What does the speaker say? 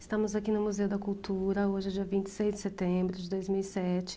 Estamos aqui no Museu da Cultura, hoje é dia vinte e seis de setembro de dois mil e sete.